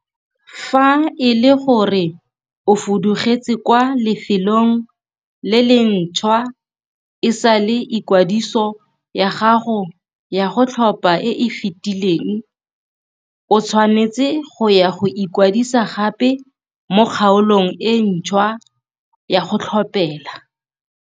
Fa ele gore o fudugetse kwa lefelong le le ntšhwa e sale ikwadiso ya gago ya go tlhopha e e fetileng, o tshwanetse go ya go ikwadisa gape mo kgaolong e ntšhwa ya go tlhophela.